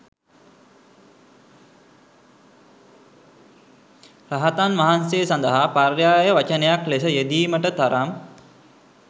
රහතන් වහන්සේ සඳහා පර්යාය වචනයක් ලෙස යෙදීමට තරම්